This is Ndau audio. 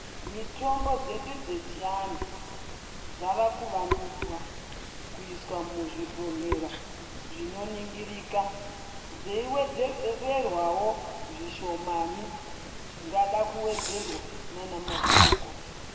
Mitombo dzedu dzechianhu dzavakuvandudzwa, kuiswa muzvibhodhlera, zvinoningirika, dzeiewedzedzerwawo zvishomani zvingada kuwedzerwa naanamazvikokota.